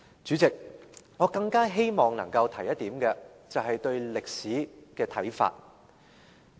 主席，我更希望能夠提出一點，便是對歷史的看法。